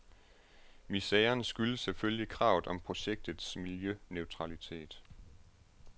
Miseren skyldes selvfølgelig kravet om projektets miljøneutralitet.